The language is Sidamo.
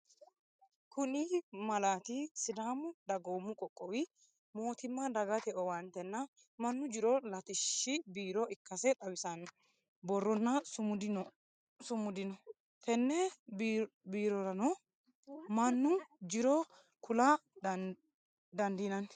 Kuni malati sadaamu dagoomu qoqowi moottimma Dagitte owaantenna manu jiro latishshi biiro ikkase xawisano boronna sumidi noo, tene biiroranno manu jiro kula dandinanni